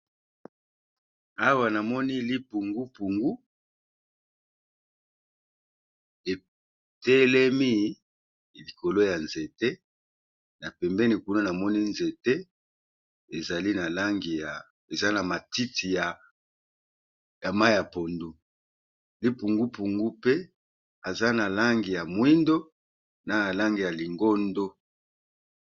Awa namoni lipungupungu étélemi likolo ya nzéte ,na pembéni kuna namoni nzéte, eza na matiti ya mayi ya pondu, lipungupungu pe aza na langi ya mwindo na langi ya lingondo.